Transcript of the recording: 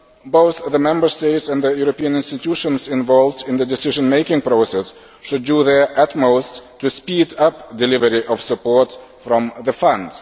Both the Member States and the European institutions involved in the decision making process should do their utmost to speed up delivery of support from the fund.